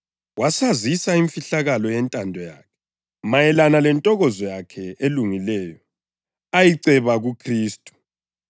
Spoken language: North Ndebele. Wasazisa imfihlakalo yentando yakhe mayelana lentokozo yakhe elungileyo ayiceba kuKhristu,